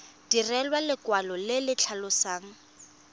direlwa lekwalo le le tlhalosang